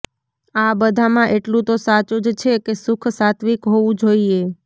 આ બધામાં એટલું તો સાચું જ છે કે સુખ સાત્ત્વિક હોવું જોઈએ